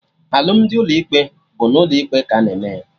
Alụmdi ụlọ ikpe bụ n'ụlọ ikpe ka a na-eme ya